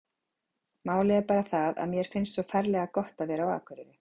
Málið er bara það að mér finnst svo ferlega gott að vera á Akureyri.